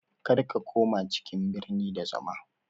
Kar ka koma cikin birni da zama